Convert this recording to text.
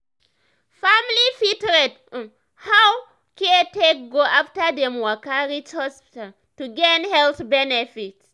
family fit rate um how um care take go after dem waka reach hospital to gain health benefit.